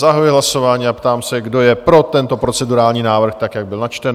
Zahajuji hlasování a ptám se, kdo je pro tento procedurální návrh, tak jak byl načten?